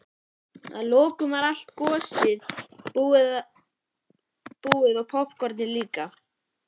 Að lokum var allt gosið búið og poppkornið líka.